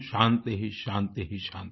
शान्ति शान्ति